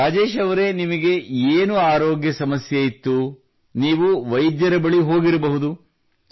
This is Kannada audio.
ರಾಜೇಶ್ ಅವರೇ ನಿಮಗೆ ಏನು ಆರೋಗ್ಯ ಸಮಸ್ಯೆಯಿತ್ತು ನೀವು ವೈದ್ಯರ ಬಳಿ ಹೋಗಿರಬಹುದು